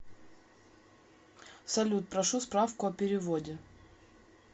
салют прошу справку о переводе